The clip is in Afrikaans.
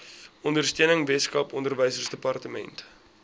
ondersteuning weskaap onderwysdepartement